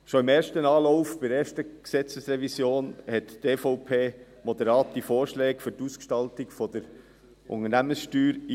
Schon im ersten Anlauf, bei der ersten Gesetzesrevision, brachte die EVP moderate Vorschläge für die Ausgestaltung der Unternehmenssteuer ein.